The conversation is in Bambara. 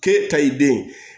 K'e ta i den